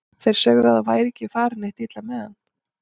Þeir sögðu að það væri ekki farið neitt illa með hann.